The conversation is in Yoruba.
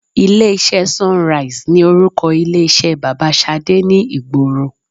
Ilé iṣẹ́ SUNRISE ni orúkọ ilé iṣẹ́ bàbá Ṣadé ni ìgboro.